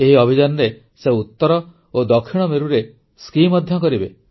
ଏହି ଅଭିଯାନରେ ସେ ଉତ୍ତର ଓ ଦକ୍ଷିଣ ମେରୁରେ ସ୍କି ମଧ୍ୟ କରିବେ